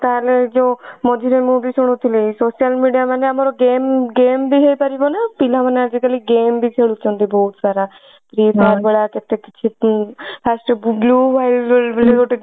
ତାହାଲେ ଯୋ ମଝିରେ ମୁଁ ବି ଶୁଣୁଥିଲି social media ମାନେ ଆମର game game ବି ହେଇପାରିବ ନା ପିଲା ମାନେ ଆଜି କାଲି game ବି ଖେଳୁଛନ୍ତି ବହୁତ ସାରା free fire ଭଳିଆ କେତେ first blue whale ବୋଲି ଗୋଟେ